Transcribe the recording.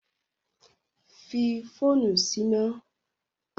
Ki fóònù síná!